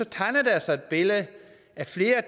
tegner der sig et billede af at flere